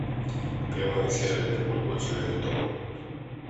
прямой эфир ливерпуль против эвертон